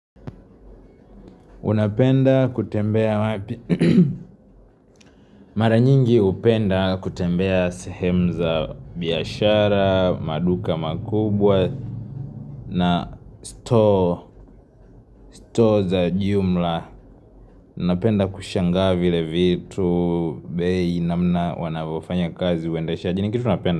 Unapenda kutembea, mara nyingi upenda kutembea sehemu za biashara, maduka makubwa na stoo za jumla. Napenda kushangaa vile vitu, bei namna wanavofanya kazi uendesha. Ju ni kitu napenda.